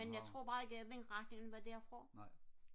men jeg tror bare ikke at vindretningen var derfra